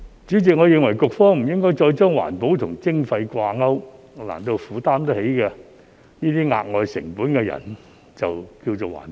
主席，我認為局方不應再把環保與徵費掛鈎，難道負擔得起這些額外成本的人就是環保？